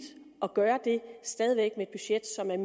at gøre det stadig væk med et budget som er